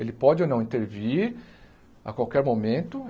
Ele pode ou não intervir a qualquer momento.